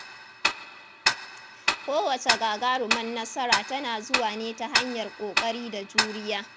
Kowacce gagarumar nasara tana zuwa ne ta hanyar ƙoƙari da juriya.